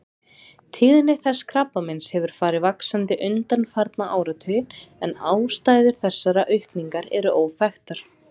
Tíðni þessa krabbameins hefur farið vaxandi undanfarna áratugi en ástæður þessarar aukningar eru óþekktar.